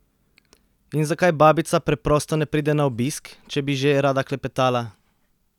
In zakaj babica preprosto ne pride na obisk, če bi že rada klepetala?